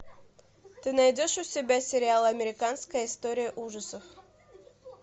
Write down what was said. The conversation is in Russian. ты найдешь у себя сериал американская история ужасов